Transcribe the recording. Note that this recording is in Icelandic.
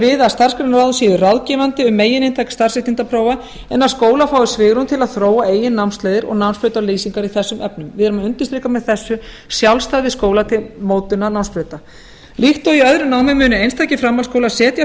við að starfsgreinaráð séu ráðgefandi um megininntak starfsréttindaprófa en að skólar fái svigrúm til að þróa eigin námsleiðir og námshlutalýsingar í þessum efnum við erum að undirstrika með þessu sjálfstæði skóla til mótunar námsbrauta líkt og í öðru námi munu einstakir framhaldsskólar setja